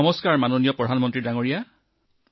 নমস্কাৰ আদৰণীয় প্ৰধানমন্ত্ৰী জী